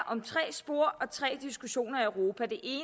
om tre spor og tre diskussioner i europa det